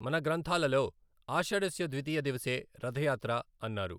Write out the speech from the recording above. మన గ్రంథాలలో ఆషాఢస్య ద్వితీయ దివసే రథయాత్ర అన్నారు.